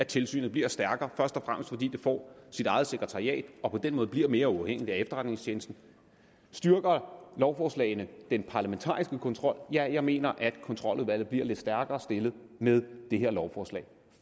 tilsynet bliver stærkere først og fremmest fordi det får sit eget sekretariat og på den måde bliver mere uafhængigt af efterretningstjenesten styrker lovforslagene den parlamentariske kontrol ja jeg mener at kontroludvalget bliver lidt stærkere stillet med det her lovforslag